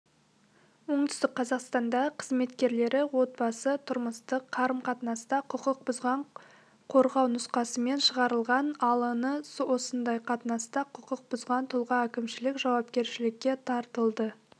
оңтүстік қазақстанда қызметкерлері отбасы-тұрмыстық қарым-қатынаста құқық бұзған қорғау нұсқамасын шығарылған алн осындай қатынаста құқық бұзған тұлға әкімшілік жауапкершілікке тартылды